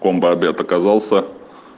бомба а д показался